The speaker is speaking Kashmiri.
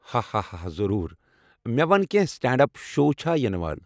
ہاہاہا ضروٗر! مےٚ وَن کینٛہہ سٹینڈ اپ شو چھا یِنہٕ وول۔